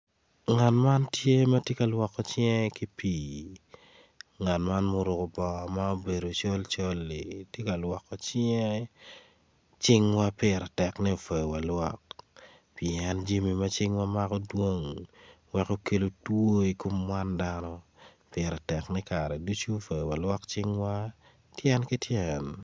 Ngat man tye ma tye ka lwoko cing ki pii ngat man ma oruko bongo ma obedo colcol-li tye ka lwoko cinge cingwa pire tek ni omyero walwok pien jami ma cingawa mako dwong weko kelo two i kom wan dano pire tek kare ducu myero walwok cingwa tyen ki tyen.